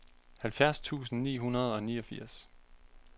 halvfjerds tusind ni hundrede og niogfirs